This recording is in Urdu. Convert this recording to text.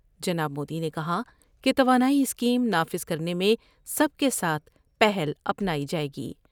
جناب مودی نے کہا کہ توانائی اسکیم نافذ کر نے میں سب کے ساتھ پہل اپنائی جائے گی ۔